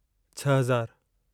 छह हज़ारु